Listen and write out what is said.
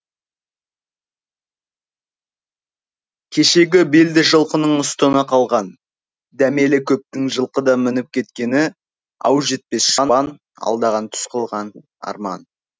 кешегі белді жылқының ұстыны қалған дәмелі көптің жылқыдан мініп кеткені ау жетпес шабан алдаған түс қылып арман